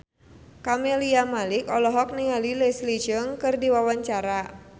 Camelia Malik olohok ningali Leslie Cheung keur diwawancara